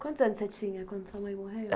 Quantos anos você tinha quando sua mãe morreu?